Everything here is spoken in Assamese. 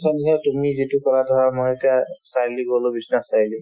তুমি যিটো ক'লা ধৰা মই এতিয়া চাৰিআলি গ'লো বিশ্ৱনাথ চাৰিআলি